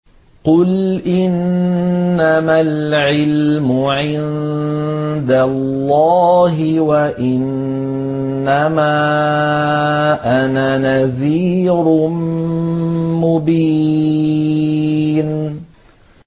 قُلْ إِنَّمَا الْعِلْمُ عِندَ اللَّهِ وَإِنَّمَا أَنَا نَذِيرٌ مُّبِينٌ